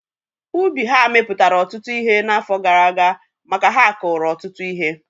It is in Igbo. Ubi ha mepụtara ụtụtụ ihe n'afọ gara aga maka ha kuru ọtụtụ ihe